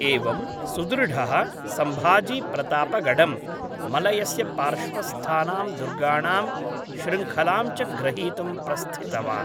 एवं सुदृढः, सम्भजी प्रतापगडं, मलयस्य पार्श्वस्थानां दुर्गाणां श्रृङ्खलां च ग्रहीतुं प्रस्थितवान्।